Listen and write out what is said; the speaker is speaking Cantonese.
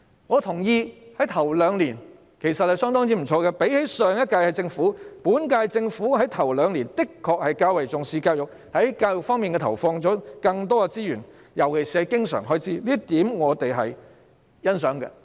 我認同在首兩年，情況相當不錯，與前兩屆政府相比，本屆政府在首兩年的確較為重視教育，在教育方面投放了更多資源，尤其是經常開支，這點我們是欣賞的。